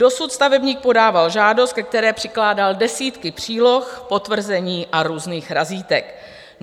Dosud stavebník podával žádost, ke které přikládal desítky příloh, potvrzení a různých razítek.